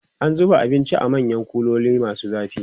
an zuba abinci a manyan kuloli masu zafi